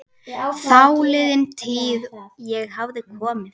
Þáliðin tíð- ég hafði komið